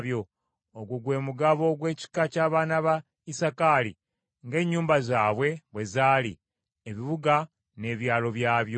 Ogwo gwe mugabo gw’ekika ky’abaana ba Isakaali ng’ennyumba zaabwe bwe zaali, ebibuga n’ebyalo byabyo.